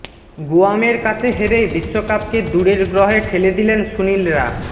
গুয়ামের কাছে হেরে বিশ্বকাপকে দূরের গ্রহে ঠেলে দিলেন সুনীলরা